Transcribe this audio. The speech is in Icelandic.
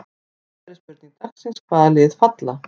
Síðari spurning dagsins: Hvaða lið falla?